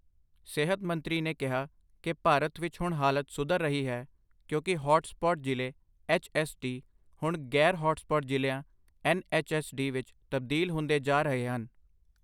ਸਿਹਤ ਮੰਤਰੀ ਨੇ ਕਿਹਾ ਕੀ ਭਾਰਤ ਵਿੱਚ ਹੁਣ ਹਾਲਤ ਸੁਧਰ ਰਹੀ ਹੈ ਕਿਉਂਕਿ ਹੌਟ ਸਪੌਟ ਜ਼ਿਲ੍ਹੇ ਐੱਚਐੱਸਡੀ ਹੁਣ ਗ਼ੈਰ ਹੌਟ ਸਪੌਟ ਜ਼ਿਲ੍ਹਿਆਂ ਐੱਨਐੱਚਐੱਸਡੀ ਵਿੱਚ ਤਬਦੀਲ ਹੁੰਦੇ ਜਾ ਰਹੇ ਹਨ।